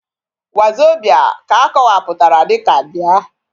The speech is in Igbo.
wazobia ka akowaputara dika bia